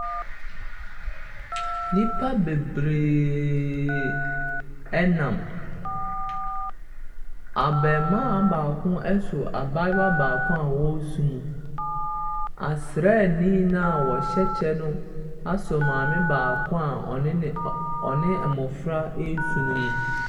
Nnipa bebree nam, abaamua baako asɔ abaayewa baako a ɔresu mu. Asraani no a ɔhyɛ kyɛ no asɔ maame baako a ɔne ne ɔne mmɔfra ɛresu no mu.